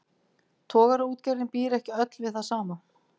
Togaraútgerðin býr ekki öll við það sama.